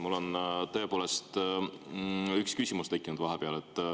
Mul on tõepoolest vahepeal üks küsimus tekkinud.